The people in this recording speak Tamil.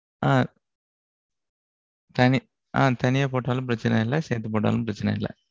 அ, தனியா போட்டாலும், பிரச்சனை இல்லை. சேத்து போட்டாலும், பிரச்சனை இல்லை